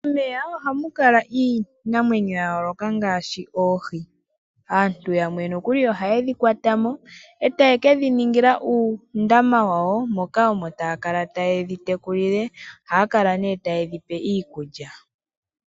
Momeya ohamu kala iinamwenyo ya yooloka ngaashi oohi. Aantu yamwe nokuli ohaye dhi kwata mo e taye kedhi ningila uundama wawo moka omo taa kala taye dhi tekulile. Ohaya kala nee taye dhi pe iikulya.